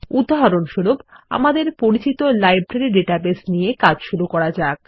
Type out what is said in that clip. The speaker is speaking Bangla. উদাহরণস্বরূপ আমাদের পরিচিত লাইব্রেরী ডাটাবেস নিয়ে কাজ শুরু করা যাক